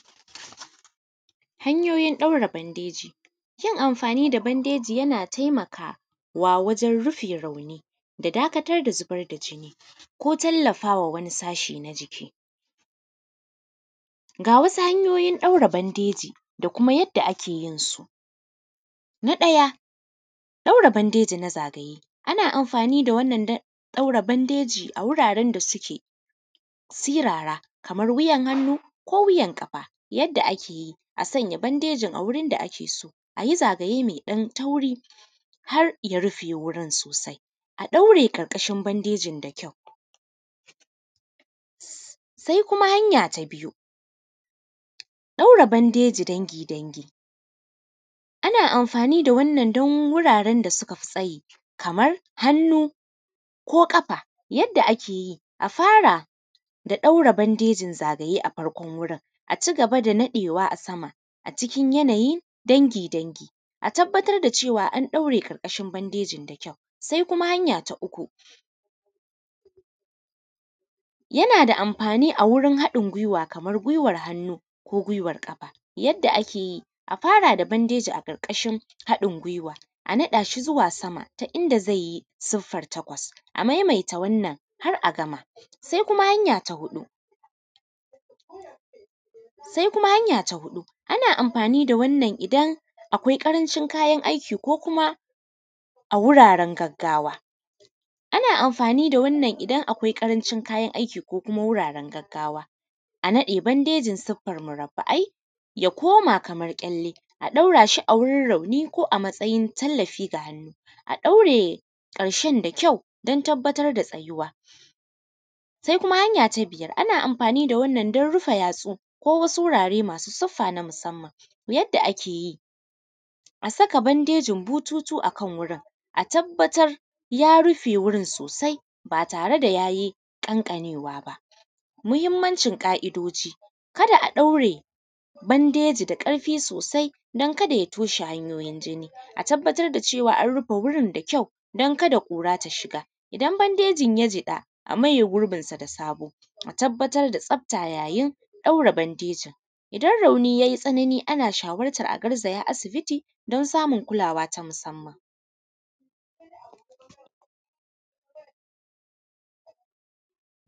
Hanyoyin ɗaura bandeji, yin amfani da bandeji yana taimakawa waran rufe rauni da dakatar da zubar da jini ko tallafawa wani sashi na jiki. Gawasu hanyoyin ɗaura bandeji da kuma yadda a keyinsu. Na ɗaya ɗaura bandeji na zagaye ana amfani da wannan ɗaura bandeji a wuraren da suke sirara, Kaman wuyan hannu ko wuyan ƙafa, yadda akeyi a sanya bandejin a wurin da akeso ayi zagaye meɗan tauri harya rufe wurin sosai a ɗaure ƙarƙashin bandejin da kyau. sai kuma hanya ta biyu ɗaura bandeji dangi dangi ana amfani da wannan da wurarenda sukafi tsayi Kaman hannu ko ƙafa, yadda akeyi a fara da ɗaura bandejin zagaye a farkon wurin sai a cigaba da ɗaurawa sama yadda akeyi dangi dangi, a tabbatar da cewa an ɗaure ƙarƙashin bandejin da kyau. Sai kuma hanya ta uku yanada amfani awurun haɗin guiwa Kaman guiwan hannu ko guiwar ƙafa yadda akeyi. A fara da bandejin bandeji a ashi ƙarƙashin haɗin guiwa a naɗashi zuwa sama ta inda zaiyi suffer takwas a maimaita wannan har’agama. Sai kuma hanya ta huɗu ana amfani da wannan idan akwai ƙarancin kayan aiki ko kuma a wuraren gaggawa, a naɗe bandejin siffar murafu’i ya koma kamar kyalle a ɗaurashi a ciki wurin rauni ko a matsayin tallafi ga hannu a ɗaure ƙarshen da kyau dan tabbatar da tsayuwa. Sai kuma hanya ta biyar ana amfani da wannan dan rufe yatsu ko kuma wurare masu suffa na musannan, yadda akeyi a saka bandejin bututu a gurin a tabbatra ya rufe wurin sosai ba tareda yayi ƙanƙanewa ba. Muhimmancin ƙa’idoji kada a ɗaure bandeji da ƙarfi sosai dan kada ya toshe hanyoyin jini, a tabbatar da cewa an rufe wurin da kyau dan kada ƙura ta shiga, idan bandejin ya jiƙa a maye gurbinsa da sabo a tabbayar da tsafta yayin ɗaur bandejin. Idan rauni yayi tsanani ana shawartar a garzaya asibiti dan samun kulawa ta musamman.